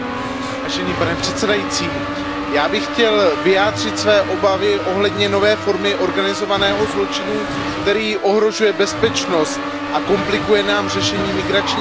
Pane předsedající, já bych chtěl vyjádřit své obavy ohledně nové formy organizovaného zločinu, který ohrožuje bezpečnost a komplikuje nám řešení migrační krize.